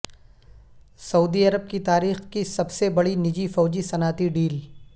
سعودی عرب کی تاریخ کی سب سے بڑی نجی فوجی صنعتی ڈیل